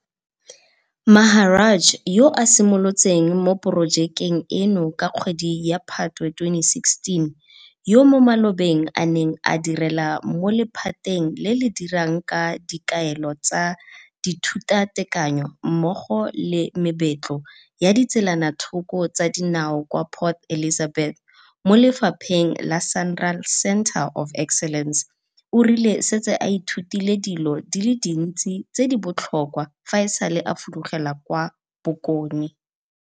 Maharaj yo a simolotseng mo porojekeng eno ka kgwedi ya Phatwe 2016, yo mo malobeng a neng a direla mo lephateng le le dirang ka dikaelo tsa dithutatekanyo mmogo le mebetlo ya ditselanathoko tsa dinao kwa Port Elizabeth mo lephateng la SANRAL Centre of Excellence, o rile o setse a ithutile dilo di le dintsi tse di botlhokwa fa e sale a fudugela kwa bokone.